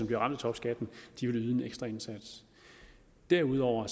bliver ramt af topskatten vil yde en ekstra indsats derudover